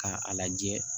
K'a lajɛ